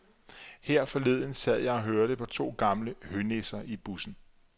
Her forleden sad jeg og hørte på to gamle hønisser i bussen.